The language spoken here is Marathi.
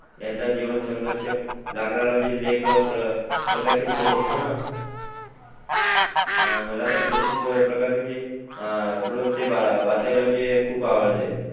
यांचा जीवन संघर्ष लागणार म्हणजे लेख प्रकाशित होत असतो ना, मला तर तशाच प्रकारचे म्हणजे मला वाचायला खूप आवडते